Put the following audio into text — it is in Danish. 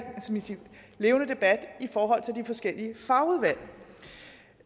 levende debat i de forskellige fagudvalg